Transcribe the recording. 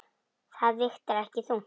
Það vigtar ekki þungt.